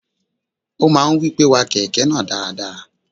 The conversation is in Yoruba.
O máa ń wí pé, wa kẹ̀kẹ́ náà dáradára.